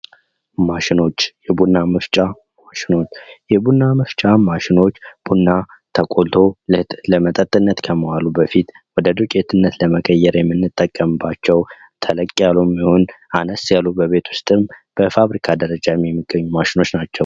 ማሽኖች የቡና መፍጫ ማሽኖች የቡና መፍጫ ማሽኖች ቡና ተቆልቶ ለመጠጥነት ከመዋሉ በፊት ወደ ዱቄትነት ለመቀየር የምንጠቀምባቸው ተለቅ ያሉም ይሁን አነስ ያሉ በቤት ዉስጥም በፋብሪካ ደረጃ የሚገኙ ማሽኖች ናቸው።